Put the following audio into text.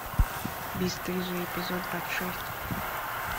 бесстыжие эпизод двадцать шесть